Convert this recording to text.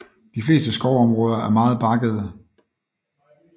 De fleste skovområder er meget bakkede